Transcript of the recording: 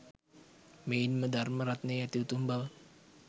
මෙයින්ම ධර්ම රත්නයේ ඇති උතුම් බව